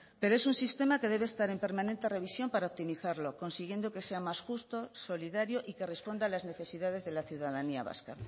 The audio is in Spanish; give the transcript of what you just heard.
pero es un sistema que debe estar en permanente revisión para optimizarlo consiguiendo que sea más justo solidario y que responda a las necesidades de la ciudadanía vasca